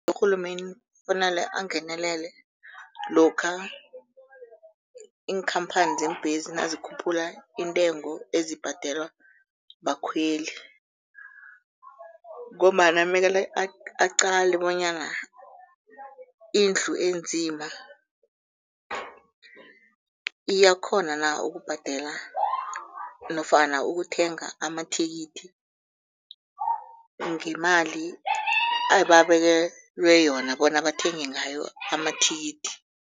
Urhulumende kufanele angenelele lokha iinkhamphani zeembesi nazikhuphula intengo ezibhadelwa bakhweli ngombana mele aqale bonyana indlu enzima iyakghona na ukubhadela nofana ukuthenga amathikithi ngemali ababekelwe yona bona bathenge ngayo amathikithi.